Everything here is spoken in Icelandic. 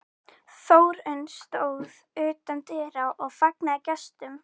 Þórunn stóð utan dyra og fagnaði gestum.